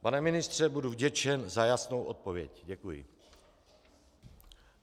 Pana ministře, budu vděčen za jasnou odpověď. Děkuji.